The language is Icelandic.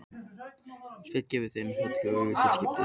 Svenni gefur þeim Höllu auga til skiptis.